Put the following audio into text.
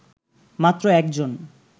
মাত্র একজন